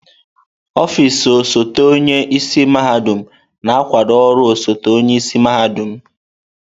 Ọfịs osote onye isi mahadum na-akwado ọrụ osote-onye isi mahadum.